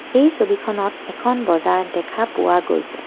এই ছবিখনত এখন বজাৰ দেখা পোৱা গৈছে।